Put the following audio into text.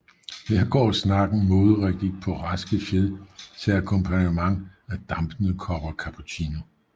Her går snakken moderigtigt på raske fjed til akkompagnement af dampende kopper cappuccino